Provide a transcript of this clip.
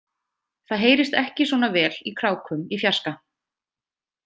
Það heyrist ekki svona vel í krákum í fjarska.